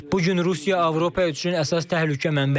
Bu gün Rusiya Avropa üçün əsas təhlükə mənbəyidir.